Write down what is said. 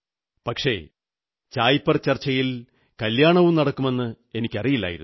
പക്ഷേ ചായ് പേ ചർച്ചയിൽ കല്യാണവും നടക്കുമെന്ന് എനിക്കറിയില്ലായിരുന്നു